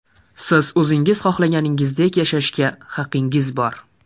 Siz o‘zingiz xohlaganingizdek yashashga haqingiz bor.